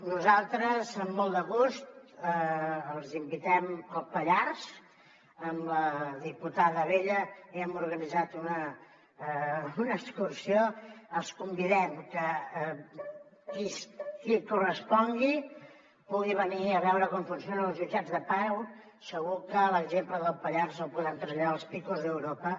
nosaltres amb molt de gust els invitem al pallars amb la diputada abella hi hem organitzat una excursió els convidem que qui correspongui pugui venir a veure com funcionen els jutjats de pau segur que l’exemple del pallars el podem traslladar als picos de europa